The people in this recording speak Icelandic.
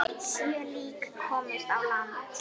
Sjö lík komust á land.